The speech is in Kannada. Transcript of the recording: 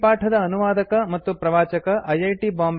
ಈ ಪಾಠದ ಅನುವಾದಕ ಮತ್ತು ಪ್ರವಾಚಕ ಐಐಟಿ